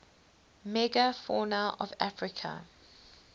megafauna of africa